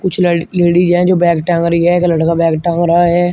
कुछ लड़ लेडीज हैं जो बैग टांग रही है। एक लड़का बैग टांग रहा है।